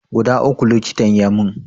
Guda uku likitan ya mun